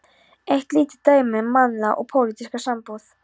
Eitt lítið dæmi um mannlega og pólitíska sambúð.